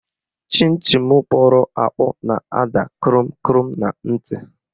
Chịn Chịn kpọrọ akpọ na-ada kụrụm kụrụm na ntị